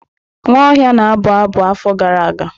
Nwaohia na-abụ abụ afọ gara aga.